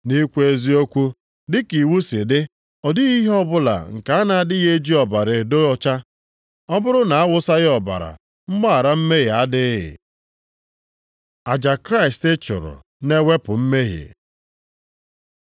Nʼikwu eziokwu, dịka iwu si dị, ọ dịghị ihe ọbụla nke a na-adịghị eji ọbara edo ọcha. Ọ bụrụ na a wụsịghị ọbara, mgbaghara mmehie adịghị. Aja Kraịst chụrụ na-ewepụ mmehie